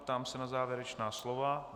Ptám se na závěrečná slova.